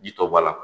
Ji tɔ bɔ la